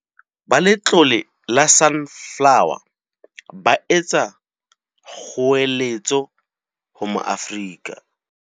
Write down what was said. Ba Letlole la Sunflo wer, ba etsa kgoeletso ho Maafrika.